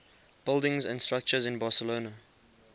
buildings and structures in barcelona